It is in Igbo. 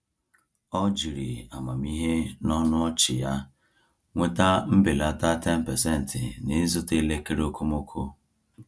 Ọ jiri amamihe na ọnụ ọchị ya nweta mbelata 10% n’ịzụta elekere okomoko.